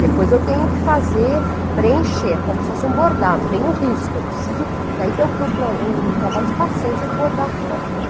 Depois eu tenho que fazer, preencher, como se fosse um bordado, vem o risco, eu preciso, daí tem trabalho de paciência de bordar tudo aquilo.